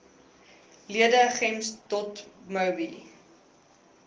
lede gems dotmobi